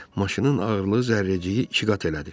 Maşının ağırlığı Zərrəciyi iki qat elədi.